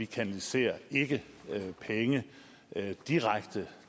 kanaliserer penge direkte